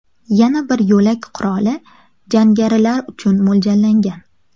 Yana bir yo‘lak qurolli jangarilar uchun mo‘ljallangan.